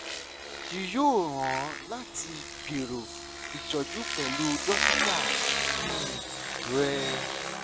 yii yoo ran ọ lati gbero itọju pẹlu dokita um rẹ